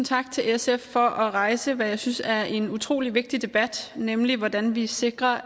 tak til sf for at rejse hvad jeg synes er en utrolig vigtig debat nemlig hvordan vi sikrer